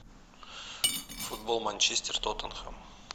футбол манчестер тоттенхэм